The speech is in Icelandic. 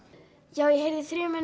já ég heyrði í þrumunum